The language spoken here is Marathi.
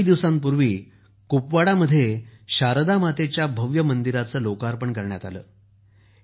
काही दिवसांपूर्वी कुपवाडामध्ये शरद मातेच्या भव्य मंदिराचे उद्घाटन करण्यात आले आहे